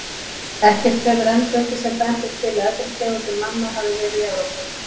Ekkert hefur enn fundist sem bendir til að eldri tegundir manna hafi verið í Evrópu.